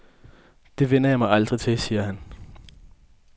Det vænner jeg mig aldrig til, siger han.